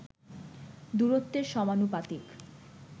দূরত্বের সমানুপাতিক